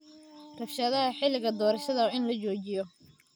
Rabshadaha xilliga doorashada waa in la joojiyo.